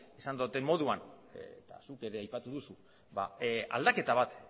esan dudan moduan eta zuk ere aipatu duzu aldaketa bat